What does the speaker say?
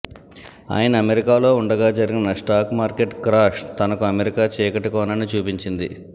ఆయన అమెరికాలో ఉండగా జరిగిన స్టాక్ మార్కెట్ క్రాష్ తనకు అమెరికా చీకటి కోణాన్ని చూపించింది